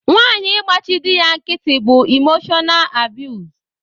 Nwanyi ịgbachi dị ya nkịtị bú imoshọnaal abiyuz.